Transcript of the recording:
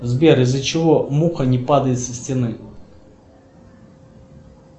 сбер из за чего муха не падает со стены